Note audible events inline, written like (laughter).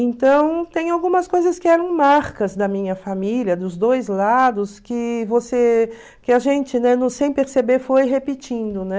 Então, tem algumas coisas que eram marcas da minha família, dos dois lados, que você que a gente, né, (unintelligible) sem perceber, foi repetindo, né?